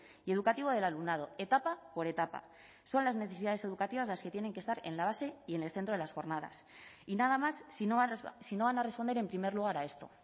y educativo del alumnado etapa por etapa son las necesidades educativas las que tienen que estar en la base y en el centro de las jornadas y nada más si no van a responder en primer lugar a esto